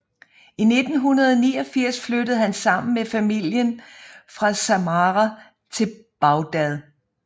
I 1989 flyttede han sammen med familien fra Samarra til Bagdhad